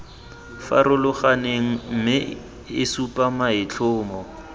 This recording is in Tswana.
farologaneng mme e supa maitlhomo